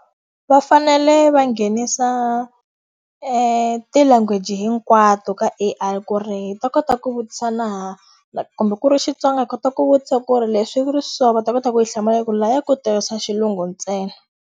Va fanele va nghenisa ti-language hinkwato ka A_I ku ri hi ta kota ku vutisa na kumbe ku ri Xitsonga hi kota ku vutisa ku ri leswi ku ri so va ta kota hi hlamula hikuva laya ku tirhisa xilungu ntsena.